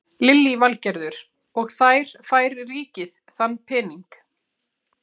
Lillý Valgerður: Og þær fær ríkið þann pening?